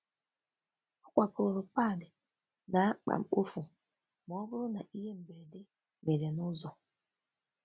Ọ kwakoro pad na akpa mkpofu ma ọ bụrụ na ihe mberede mere n'ụzọ.